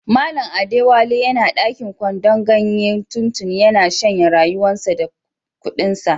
Mallam Adewale yana dakin kwandon ganye tuntuni, ya na shanye rayuwan sa da kudin sa.